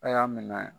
A' y'a minɛ